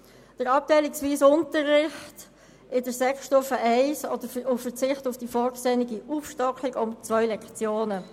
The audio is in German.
Es geht um den abteilungsweisen Unterricht auf der Sekundarstufe I und den Verzicht auf die Aufstockung um zwei Lektionen.